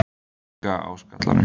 Svona líka á skallanum!